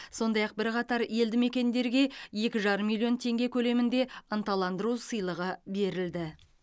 сондай ақ бірқатар елді мекендерге екі жарым миллион теңге көлемінде ынталандыру сыйлығы берілді